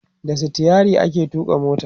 da sitayirin ake tuƙa mota